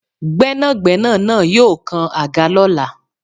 Gbénàgbénà naa yóò kan àga lọ́la